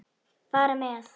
Fara með.